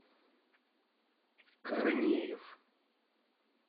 корнеев